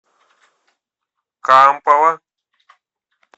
кампала